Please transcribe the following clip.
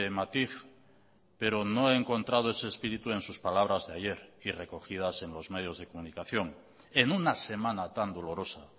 matiz pero no he encontrado ese espíritu en sus palabras de ayer y recogidas en los medios de comunicación en una semana tan dolorosa